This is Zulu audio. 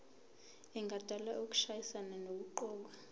engadala ukushayisana nokuqokwa